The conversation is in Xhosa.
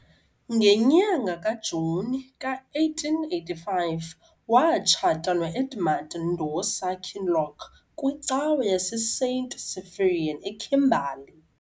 Ngenyanga kaJuni ka-1885, watshata no-Edmund Ndosa Kinloch kwicawa yaseSt Cyprian eKimberley.